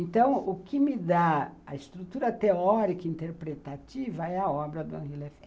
Então, o que me dá a estrutura teórica interpretativa é a obra do Henri Lefèvre.